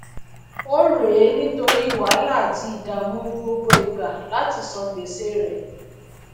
órèé nítórí wàhálà àti ìdàmù gbogbo igbà láti san gbèse rè